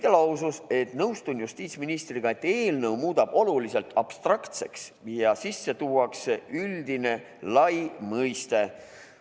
Ta lausus, et nõustub justiitsministriga, et eelnõu muudab olukorra abstraktseks ja sisse tuuakse üldine lai mõiste.